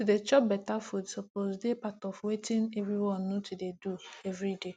to dey chop better food suppose dey part of wetin everyone need to dey do every day